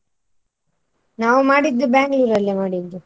ನಾವ್ ಮಾಡಿದ್ Bangalore ಅಲ್ಲಿ ಮಾಡಿದ್ದೂ.